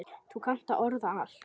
Þú kannt að orða allt.